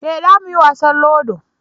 eh za mu yi wasan ludo